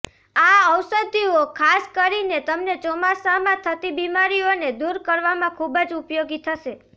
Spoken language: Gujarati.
આ ઔષધીઓ ખાસ કરીને તમને ચોમાસામાં થતી બિમારીઓને દૂર કરવામાં ખૂબ જ ઉપયોગી થશે